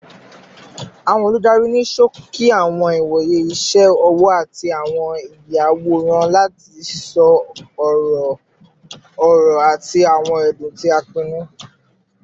Awọn oludari ni ṣoki awọn iwoye iṣẹ ọwọ ati awọn iyaworan lati sọ ọrọ-ọrọ ati awọn ẹdun ti a pinnu